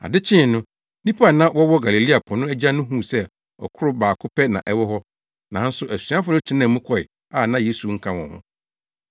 Ade kyee no, nnipa a na wɔwɔ Galilea po no agya no huu sɛ ɔkorow baako pɛ na na ɛwɔ hɔ, nanso asuafo no tenaa mu kɔe a na Yesu nka wɔn ho.